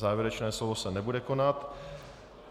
Závěrečné slovo se nebude konat.